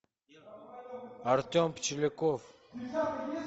артем пчеляков